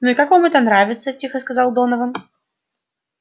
ну и как вам это нравится тихо сказал донован